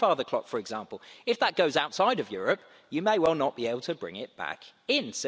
The grandfather clock, for example if that goes outside Europe, you may well not be able to bring it back in.